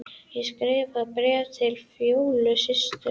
Ég skrifaði bréf til Fjólu systur.